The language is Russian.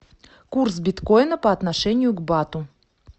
курс биткоина по отношению к бату